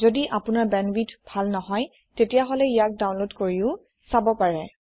যদি আপোনাৰবেন্দৱিথ ভাল নহয় তেতিয়াহলে ইয়াক ডাউনলোড কৰিও চাব পাৰে